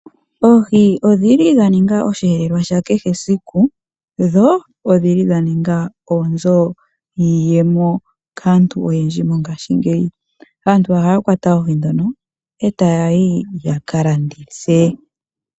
Oohi odhili dha ninga osheelelwa sha kehe siku, dho odhili dha ninga oonzo dhiiyemo kaantu oyendji mongaashingeyi. Aantu ohaya kwata oohi dhono e taya yi yaka landithe.